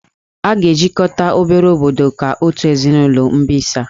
A ga-ejikọta obere obodo ka otu ezinụlọ mbisa